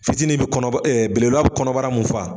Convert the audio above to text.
Fitinin bɛ kɔnɔba belebelela bɛ kɔnɔbara min fa